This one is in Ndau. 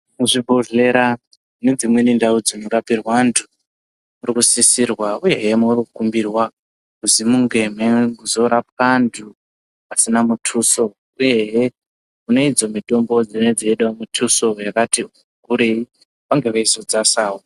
Muzvibhodhlera nedzimweni ndau dzinorapirwe antu muri kusisirwa uyehe muri kukumbirwa kuzi munge meizorapwa antu asina mutuso uyehe kune idzo mutombo dzinenga dzeide mutuso yakati kurei vange veizodzasira.